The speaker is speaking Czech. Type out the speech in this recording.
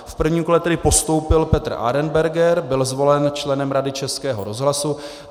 V prvním kole tedy postoupil Petr Arenberger, byl zvolen členem Rady Českého rozhlasu.